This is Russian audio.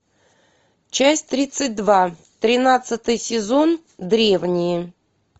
часть тридцать два тринадцатый сезон древние